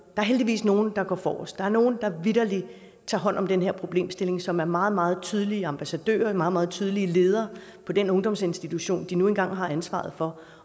er heldigvis nogle der går forrest der er nogle der vitterlig tager hånd om den her problemstilling og som er meget meget tydelige ambassadører og meget meget tydelige ledere på den ungdomsinstitution de nu engang har ansvaret for